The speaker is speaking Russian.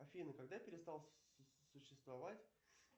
афина когда перестал существовать